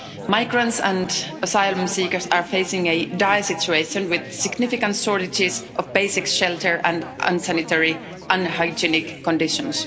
Migrants and asylum seekers are facing a dire situation, with significant shortages of basic shelter and unsanitary, unhygienic conditions.